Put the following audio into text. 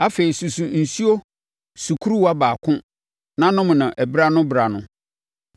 Afei, susu nsuo sukuruwa baako na nom no berɛ ano berɛ ano.